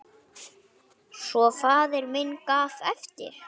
Svo faðir minn gaf eftir!